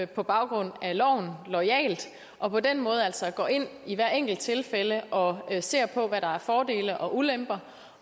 på baggrund af loven og på den måde altså går ind i hvert enkelt tilfælde og ser på hvad der er fordele og ulemper